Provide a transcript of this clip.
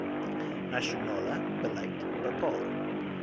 nasionale beleid bepaal